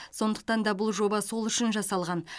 сондықтан да бұл жоба сол үшін жасалған